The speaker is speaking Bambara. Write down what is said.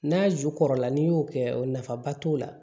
N'a ju kɔrɔla n'i y'o kɛ o nafaba t'o la